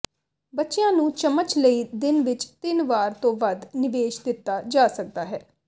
ਬੱਚਿਆਂ ਨੂੰ ਚਮਚ ਲਈ ਦਿਨ ਵਿੱਚ ਤਿੰਨ ਵਾਰ ਤੋਂ ਵੱਧ ਨਿਵੇਸ਼ ਦਿੱਤਾ ਜਾ ਸਕਦਾ ਹੈ